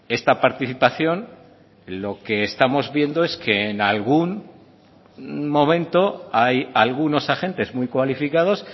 esta participación lo que estamos viendo es que en algún momento hay algunos agentes muy cualificados